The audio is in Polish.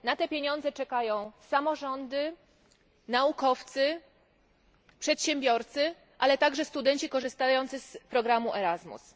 Na te pieniądze czekają samorządy, naukowcy, przedsiębiorcy, ale także studenci korzystający z programu Erasmus.